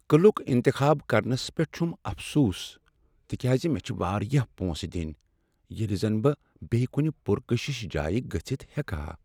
قلعُک انتخاب کرنس پیٹھ چھُم افسوس تِکیازِ مےٚ چُھ واریاہ پۄنسہٕ دِنۍ ییٚلہِ زن بہٕ بیٚیہ کُنہ پرکشش جایہ گٔژھتھ ہیکہ ہا۔